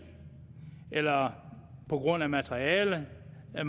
eller på grund af materialemangel eller